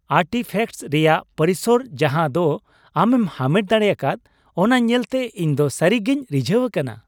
Artefacts ᱨᱮᱭᱟᱜ ᱯᱚᱨᱤᱥᱚᱨ ᱡᱟᱦᱟᱸ ᱫᱚ ᱟᱢᱮᱢ ᱦᱟᱢᱮᱴ ᱫᱟᱲᱮᱭᱟᱠᱟᱫ ᱚᱱᱟ ᱧᱮᱞᱛᱮ ᱤᱧ ᱫᱚ ᱥᱟᱹᱨᱤ ᱜᱮᱧ ᱨᱤᱡᱷᱟᱹᱣ ᱟᱠᱟᱱᱟ ᱾